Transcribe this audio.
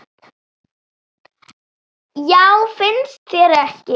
Já, finnst þér ekki?